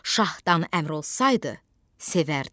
Şahdan əmr olsaydı, sevərdim.